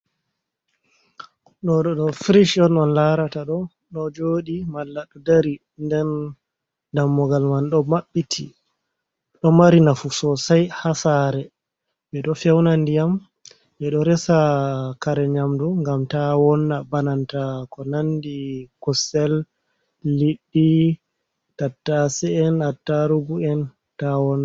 Ɗo ɗo frish on on larata ɗo, ɗo joɗi malla ɗo dari, den dammugal man ɗo maɓɓiti, ɗo mari nafu sosai ha sare ɓe ɗo feuna ndiyam, ɓe ɗo resa kare nyamdu ngam ta wonna, bananta ko nandi kusel, liɗdi, tattasei, attarugu en ta wonna.